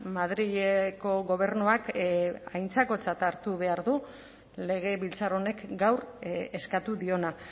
madrileko gobernuak aintzakotzat hartu behar du legebiltzar honek gaur eskatu diona